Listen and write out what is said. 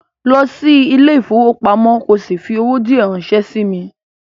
Go to the bank and send me some money